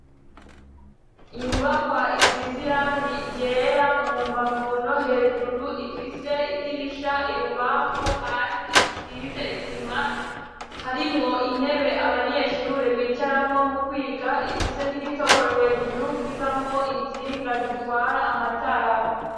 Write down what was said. Inyubakwa isize irangi ryera, mu mbavu no hejuru ifise idirisha ibubamfu, hasi isize isima ,harimwo intebe abanyeshure bicaramwo mu kwiga, ifise n'igitoboro hejuru kivamwo intsinga zitwara amatara.